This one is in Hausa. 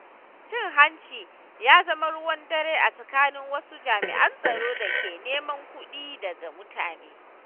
Cin hanci ya zama ruwan dare a tsakanin wasu jami’an tsaron da ke neman kuɗi daga mutane.